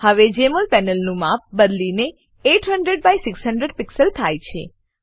હવે જમોલ પેનલનું માપ બદલીને 800 બાય 600 પીક્સલ થાય છે